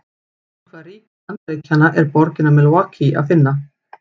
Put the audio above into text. Í hvaða ríki Bandaríkjanna er borgina Milwaukee að finna?